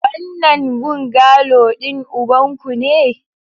Wannan bungalow din ubanku ne?